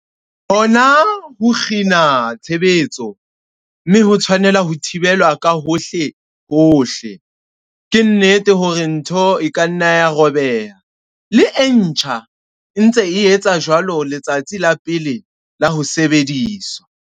Hona ho kgina tshebetso, mme ho tshwanetse ho thibelwa ka hohlehohle. Ke nnete hore ntho e ka nna ya robeha, le e ntjha e ntse e etsa jwalo letsatsing la pele la ho sebediswa.